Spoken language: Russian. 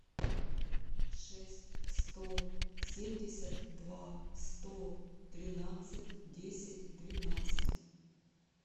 шесть сто семьдесят два сто тринадцать десять двенадцать